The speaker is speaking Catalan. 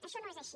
això no és així